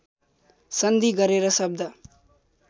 सन्धि गरेर शब्द